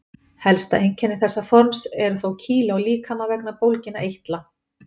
Helsta einkenni þessa forms eru þó kýli á líkama vegna bólginna eitla.